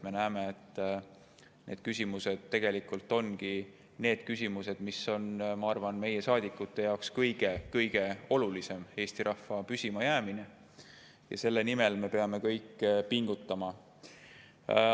Me näeme, et need küsimused tegelikult ongi need, mis on, ma arvan, meie saadikute jaoks kõige olulisemad, nagu Eesti rahva püsimajäämine, ja selle nimel me peame kõik pingutama.